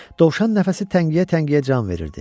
Dovşan nəfəsi təngiyə-təngiyə can verirdi.